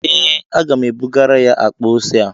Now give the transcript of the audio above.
Ee, aga m ebugara ya akpa ose a